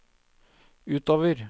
utover